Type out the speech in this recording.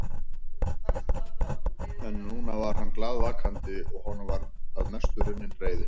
En núna var hann glaðvakandi og honum var að mestu runnin reiðin.